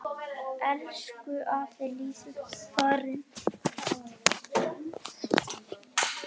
Elsku afi Lýður er farinn.